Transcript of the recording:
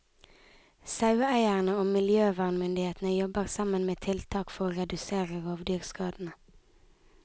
Saueeierne og miljøvernmyndighetene jobber sammen med tiltak for å redusere rovdyrskadene.